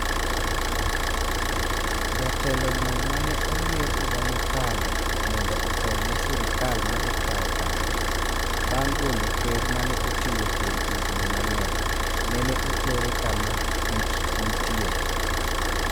jatelo no mane oyier higa mokalo mondo otel ne sirikal madhi kao kare. bang' golo ker mane otiyo kuom higni mang'eny, nene otere kama rit nitie